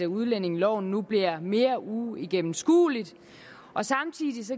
udlændingeloven nu bliver mere uigennemskuelig og samtidig gives